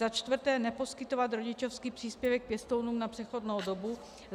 Za čtvrté neposkytovat rodičovský příspěvek pěstounům na přechodnou dobu.